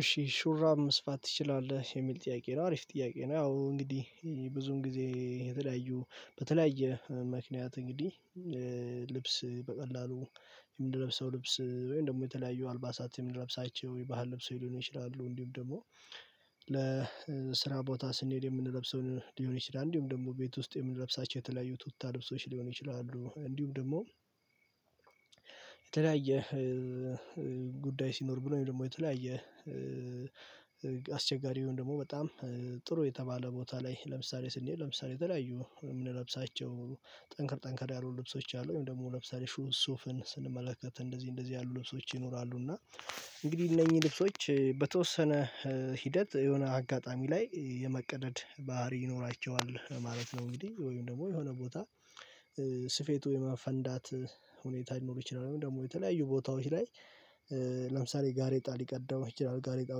እሺ ሹራብ መስፋት ትችላለህ የሚል ጥያቄ ነው? አሪፍ ጥያቄ ነው። ያው እንግዲህ ብዙም ጊዜ የተለያዩ በተለያየ ምክንያት እንግዲህ ልብስ በቀላሉ የምንለብሰው ልብስ ወይም ደግሞ የተለያዩ አልባሳት የምንለብሳቸው የባህል ልብስ ሊሆን ይችላሉ እንዲሁም ደግሞ ለስራ ቦታ ስንሄድ የምንለብሰውን ሊሆን ይችላል። እንዲሁም ደግሞ ቤት ውስጥ የምንለብሳቸው የተለያዩ ቱታ ልብሶች ሊሆን ይችላሉ። እንዲሁም ደግሞ የተለያየ ጉዳይ ሲኖር ብሎም ደግሞ የተለያየ አስቸጋሪ ወይም ደግሞ በጣም ጥሩ የተባለ ቦታ ላይ ለምሳሌ ስንሄድ ለምሳሌ የተለያዩ የምንለብሳቸው ጠንከር ጠንከር ያሉ ልብሶች አሉ ወይም ደግሞ ለምሳሌ ሱፍን ስንመለከት እንደዚህ እንደዚህ ያሉ ልብሶች ይኖራሉ እና እንግዲህ እነኚህ ልብሶች በተወሰነ ሂደት የሆነ አጋጣሚ ላይ የመቀደድ ባህሪ ይኖራቸዋል ማለት ነው። እንግዲህ ወይም ደግሞ የሆነ ቦታ ስፌቱ የመፈንዳት ሁኔታ ሊኖር ይችላል። ወይም ደግሞ የተለያዩ ቦታዎች ላይ ለምሳሌ ጋሬጣ ሊቀደው ይችላል። ጋሬጣው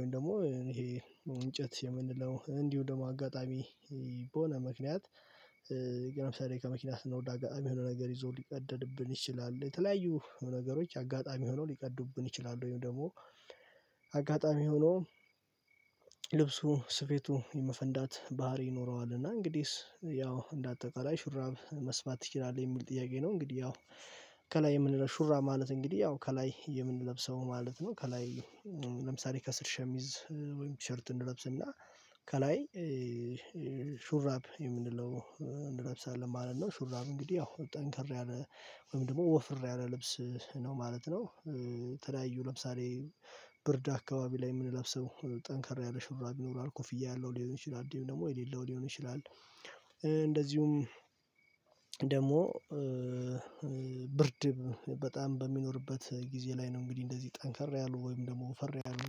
ላይ ደግሞ ይሄ እንጨት የምንለው እንዲሁ ደግሞ አጋጣሚ በሆነ ምክንያት ለምሳዬ ከመኪና ስናወርድ አጋጣሚ የሆነ ነገር ይዞ ሊቀደድብን ይችላል። የተለያዩ ነገሮች አጋጣሚ ሆኖ ሊቀዱብን ይችላሉ ወይም ደግሞ አጋጣሚ ሆኖ ልብሱ ስፌቱ የመፈንዳት ባህሪ ይኖረዋል። እና እንግዲህስ ያው እንደ አጠቃላይ ሹራብ መስፋት ትችላለህ የሚል ጥያቄ ነው? እንግዲህ ያው ከላይ የምንለው ሹራብ ማለት እንግዲህ ያው ከላይ የምንለብሰው ማለት ነው። ከላይ ለምሳሌ ከስር ሸሚዝ ወይም ቲሸርት እንለብስና ከላይ ሹራብ የምንለው እንለብሳለን ማለት ነው። ሱራቡ እንግዲህ ያው ጠንከር ያለ ወይም ደግሞ ወፈር ያለ ልብስ ነው ማለት ነው። የተለያዩ ለምሳሌ ብርድ አካባቢ ላይ የምንለብሰው ጠንካራ ያለ ሹራብ ይኖራል ኮፍያ ያለው ሊሆን ይችላል እንዲሁም ደግሞ የሌለው ሊሆን ይችላል። እንደዚሁም ደግሞ ብርድ በጣም በሚኖርበት ጊዜ ላይ ነው እንግዲህ እንደዚህ ጠንከር ያሉ ወይም ደግሞ ወፈር ያሉ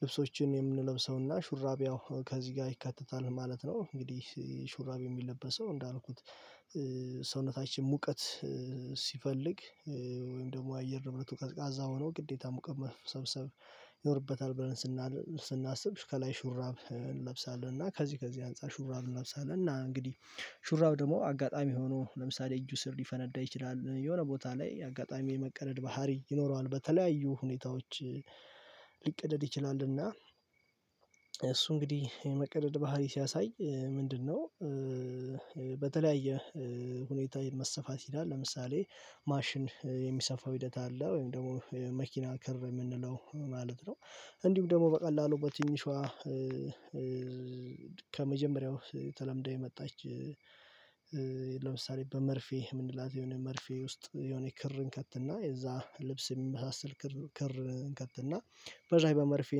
ልብሶችን የምንለብሰውና ሹራብ ያው ከዚህ ጋር ይካተታል ማለት ነው። እንግዲህ ሹራብ የሚለበሰው እንዳልኩት ሰውነታችን ሙቀት ሲፈልግ ወይም ደግሞ አየር ንብረቱ ቀዝቃዛ ሆኖ ግዴታ ሙቀት መሰብሰብ ይኖርበታል ብለን ስናስብ ከላይ ሹራብ እንለብሳለን እና ከዚህ ከዚህ አንፃር ሹራብ እንለብሳለን እና እንግዲህ ሹራብ ደግሞ አጋጣሚ ሆኖ ለምሳሌ እጁ ስር ሊፈነዳ ይችላል የሆነ ቦታ ላይ አጋጣሚ የመቀደድ ባህሪ ይኖረዋል። በተለያዩ ሁኔታዎች ሊቀደድ ይችላልና እሱ እንግዲህ የመቀደድ ባህሪ ሲያሳይ ምንድነው? በተለያየ ሁኔታ መሰፋት ይችላል ለምሳሌ ማሽን የሚሰፋው ሂደት አለ ወይም ደግሞ መኪና ክር የምንለው ማለት ነው። እንዲሁም ደግሞ በቀላሉ በትንሿ ከመጀመሪያው ተለምዳ የመጣች ለምሳሌ በመርፌ የምንላት የሆነ መርፌ ውስጥ የሆነ ክር እንከትና የዛ ልብስ የሚመሳሰል ክር እንከትና በዝያ በመርፌ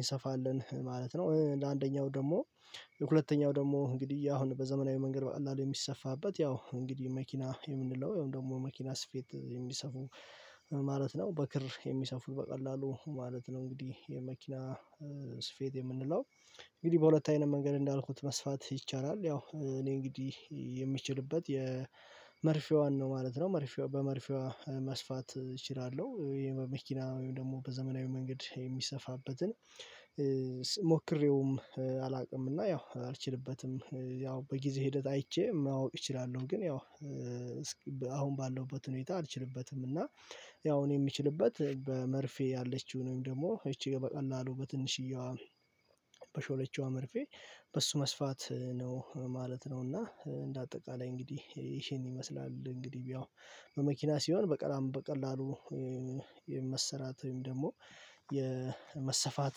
እንሰፋለን ማለት ነው። ለአንደኛው ደግሞ ለሁለተኛው ደግሞ እንግዲህ አሁን በዘመናዊ መንገድ በቀላሉ የሚሰፋበት ያው እንግዲህ መኪና የምንለው ያው ደግሞ መኪና ስፌት የሚሰፉ ማለት ነው። በክር የሚሰፉት በቀላሉ ማለት ነው እንግዲህ የመኪና ስፌት የምንለው እንግዲህ በሁለት አይነት መንገድ እንዳልኩት መስፋት ይቻላል ያው እኔ እንግዲህ የምችልበት የመርፌዋን ነው ማለት ነው መርፌ በመርፌዋ መስፋት እችላለሁ ይሄ በመኪና ወይም ደግሞ በዘመናዊ መንገድ የሚሰፋበትን ሞክሬውም አላውቅም። እና ያው አልችልበትም ያው በጊዜ ሂደት አይቼ ማወቅ እችላለሁ ግን ያው አሁን ባለሁበት ሁኔታ አልችልበትም። እና ያው እኔ የምችልበት በመርፌ ያለችውን ወይም ደግሞ ይቺ በቀላሉ በትንሽዬዋ በሾለችዋ መርፌ በሱ መስፋት ነው ማለት ነው። እና እንደ አጠቃላይ እንግዲህ ይሄን ይመስላል እንግዲህ ያው በመኪና ሲሆን በቀላም በቀላሉ የመሰራት ወይም ደግሞ የመሰፋት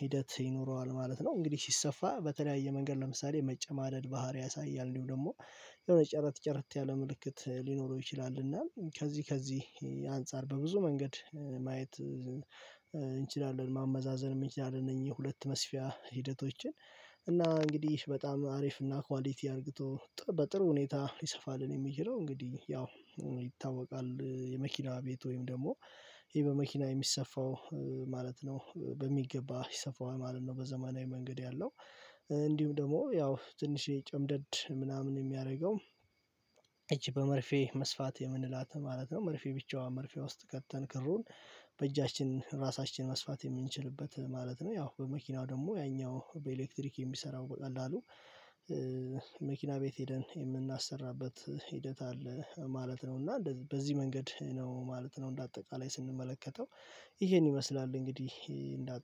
ሂደት ይኖረዋል ማለት ነው። እንግዲህ ሲሰፋ በተለያየ መንገድ ለምሳሌ መጨማደድ ባህሪ ያሳያል እንዲሁ ደግሞ የሆነ ጨረት ጨረት ያለ ምልክት ሊኖረው ይችላል እና ከዚህ ከዚህ አንፃር በብዙ መንገድ ማየት እንችላለን ማመዛዘን እንችላለን እነዚህ ሁለት መስፊያ ሂደቶችን እና እንግዲህ በጣም አሪፍና ኳሊቲ አድርገው በጥሩ ሁኔታ ይሰፋል የሚል ነው። እንግዲህ ያው ይታወቃል የመኪና ቤት ወይም ደግሞ ይሄ በመኪና የሚሰፋው ማለት ነው በሚገባ ይሰፋዋል ማለት ነው። በዘመናዊ መንገድ ያለው እንዲሁም ደግሞ ያው ትንሽ የጨምደድ ምናምን የሚያደርገው እቺ በመርፌ መስፋት የምንላት ማለት ነው መርፌ ብቻዋን መርፌ ውስጥ ከተን ክሩን በእጃችን ራሳችን መስፋት የምንችልበት ማለት ነው። ያው በመኪናው ደግሞ ያኛው በኤሌክትሪክ የሚሰራው በቀላሉ መኪና ቤት ሄደን የምናሰራበት ሂደት አለ ማለት ነው። እና በዚህ መንገድ ነው ማለት ነው እንደ አጠቃላይ ስንመለከተው ይሄን ይመስላል። እንግዲህ እንደ